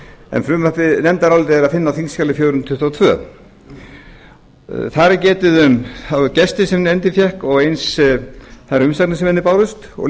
en nefndarálitið er að finna á þingskjali fjögur hundruð tuttugu og tvö þar er getið um þá gesti sem nefndin fékk og eins þær umsagnir sem henni bárust og